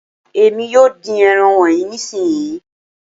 Èmi yóò dín ẹran wọnyí nísìnsisìyí.